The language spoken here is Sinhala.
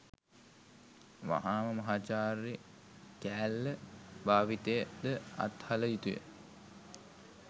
වහාම මහාචාර්ය කෑල්ල භාවිතය ද අත්හළ යුතුය